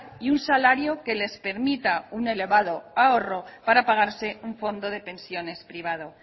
y un salario que les permita un elevado ahorro para pagarse un fondo de pensiones privado